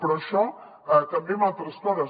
però això també en altres coses